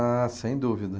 Ah, sem dúvida.